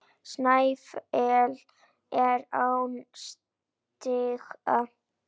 Snæfell er án stiga.